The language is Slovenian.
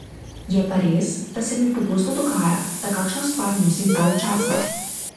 Je pa res, da se mi pogosto dogaja, da kakšno stvar nosim dalj časa.